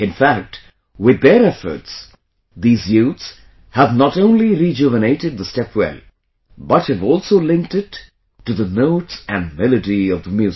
In fact, with their efforts, these youths have not only rejuvenated the step well, but have also linked it to the notes and melody of the music